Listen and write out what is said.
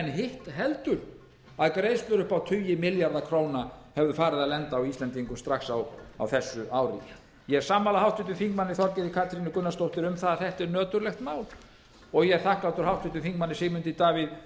hitt heldur að greiðslur upp á tugi milljarða króna hefðu farið að lenda á íslendingum strax á þessu ári ég er sammála háttvirtum þingmanni þorgerði katrínu gunnarsdóttur um það að þetta er nöturlegt mál og ég er þakklátur háttvirtur þingmaður sigmundi davíð